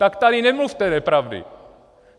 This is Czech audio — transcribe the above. Tak tady nemluvte nepravdy.